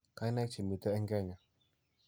Kainaik che miitei eng' Kenya: